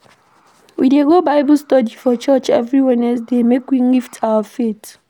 We dey go Bible study for church every Wednesday make we lift our faith.